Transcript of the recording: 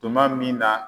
Tuma min na